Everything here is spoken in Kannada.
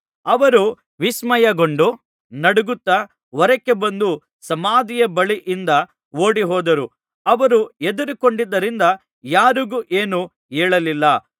ಅವರು ವಿಸ್ಮಯಗೊಂಡು ನಡುಗುತ್ತಾ ಹೊರಕ್ಕೆ ಬಂದು ಸಮಾಧಿಯ ಬಳಿಯಿಂದ ಓಡಿಹೋದರು ಅವರು ಹೆದರಿಕೊಂಡಿದ್ದರಿಂದ ಯಾರಿಗೂ ಏನೂ ಹೇಳಲಿಲ್ಲ